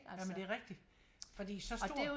Jamen det rigtig fordi så stor